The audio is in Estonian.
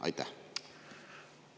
Aitäh!